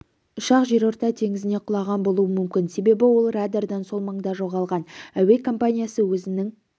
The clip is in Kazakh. ұшақ жерорта теңізіне құлаған болуы мүмкін себебі ол радардан сол маңда жоғалған әуе компаниясы өзінің